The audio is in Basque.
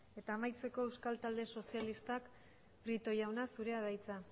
eta amaitzeko euskal talde sozialistak prieto jauna zurea da hitza